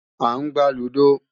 À ń gbá lúdò